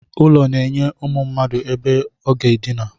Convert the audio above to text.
Ụlọ na-enye ụmụ mmadụ ebe aga edina